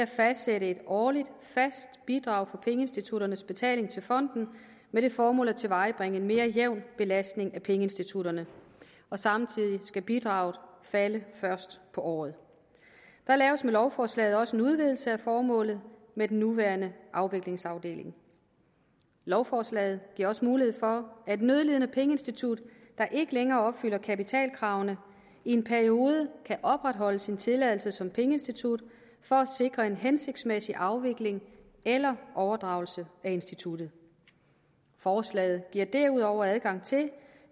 fastsættes et årligt fast bidrag for pengeinstitutternes betaling til fonden med det formål at tilvejebringe mere jævn belastning af pengeinstitutterne og samtidig skal bidraget falde først på året der laves med lovforslaget også en udvidelse af formålet med den nuværende afviklingsafdeling lovforslaget giver også mulighed for at et nødlidende pengeinstitut der ikke længere opfylder kapitalkravene i en periode kan opretholde sin tilladelse som pengeinstitut for at sikre en hensigtsmæssig afvikling eller overdragelse af instituttet forslaget giver derudover adgang til